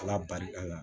Ala barika la